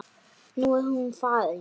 Nú er hún farin.